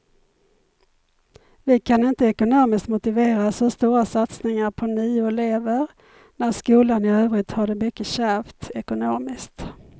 Vi kan inte ekonomiskt motivera så stora satsningar på nio elever när skolan i övrigt har det mycket kärvt ekonomiskt.